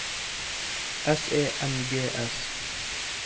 S E N G S